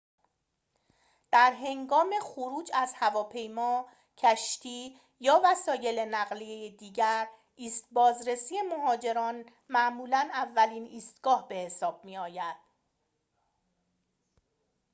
در هنگام خروج از هواپیما کشتی یا وسایل نقلیه دیگر ایست بازرسی مهاجرت معمولاً اولین ایستگاه به حساب می‌آید